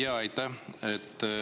Jaa, aitäh!